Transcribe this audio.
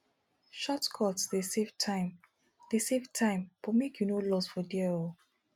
shotcuts dey save time dey save time but make you no loss for there o